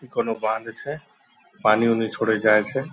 इ कौनो बॉंध छे पानी-उनी छोड़े जाए छे ।